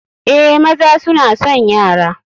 Eh, maza suna son yara.